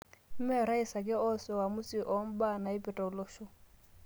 Mme orais ake oas uamusi oo mbaa naipirta olosho